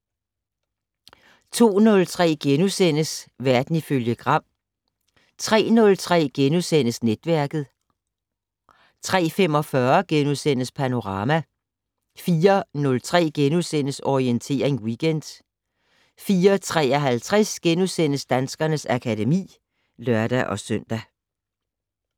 02:03: Verden ifølge Gram * 03:03: Netværket * 03:45: Panorama * 04:03: Orientering Weekend * 04:53: Danskernes akademi *(lør-søn)